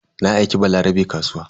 Na aika Balarabe kasuwa.